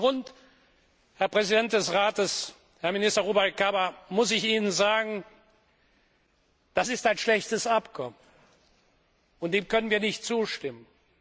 Aus diesem Grund, Herr Präsident des Rates, Herr Minister Rubalcaba, muss ich Ihnen sagen Das ist ein schlechtes Abkommen, dem können wir nicht zustimmen.